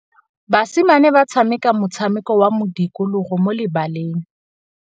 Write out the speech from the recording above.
Basimane ba tshameka motshameko wa modikologô mo lebaleng.